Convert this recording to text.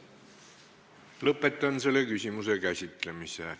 Lõpetan selle küsimuse käsitlemise.